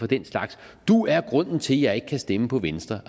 den slags du er grunden til at jeg ikke kan stemme på venstre